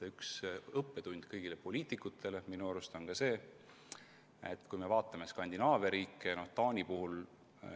Üks õppetund kõikidele poliitikutele on minu arust see, mida näeme Skandinaavia riikide puhul.